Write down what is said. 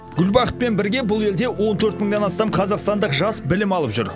гүлбахытпен бірге бұл елде он төрт мыңнан астам қазақстандық жас білім алып жүр